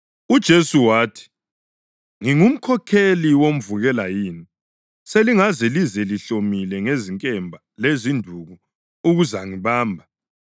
UJesu wathi, “Ngingumkhokheli womvukela yini, selingaze lize lihlomile ngezinkemba lezinduku ukuzangibamba?